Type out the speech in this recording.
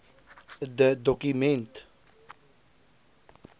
de doku ment